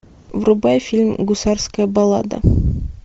врубай фильм гусарская баллада